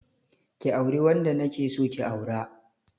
Ki auri wanda na ke so ki aura.